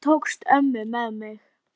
Blessuð sé minning Dengsa bróður.